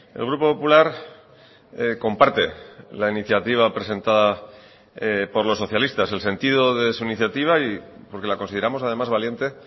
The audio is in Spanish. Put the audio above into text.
el grupo popular comparte la iniciativa presentada por los socialistas el sentido de su iniciativa y porque la consideramos además valiente